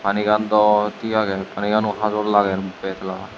panigan dw tik agey pani gano hajor lager betla.